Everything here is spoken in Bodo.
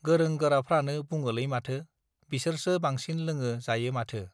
गोरों गोराफ्रानो बुङोलै माथो बिसोरसो बांसिन लोङो जायो माथो